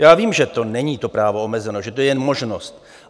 Já vím, že to není, to právo, omezeno, že to je jenom možnost.